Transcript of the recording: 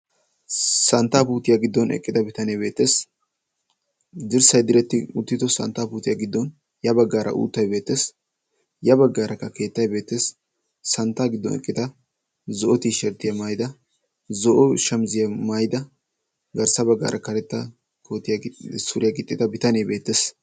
Santtaa puutiyaa giddon eqqida bitanee beettees. Dirssay diretti uutido santtaa puutiyaa giddon ya baggaara uuttay beettees. Ha baggaarakka keettay beettees. Santta giddon eqqita zo'o tiisherttiyaa maayida zo'o shamizziyaa maayida garssa baggaara karetta kootiyaa suriyaa gixxida bitanee beettees.